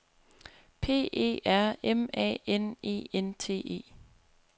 P E R M A N E N T E